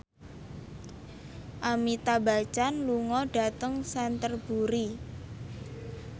Amitabh Bachchan lunga dhateng Canterbury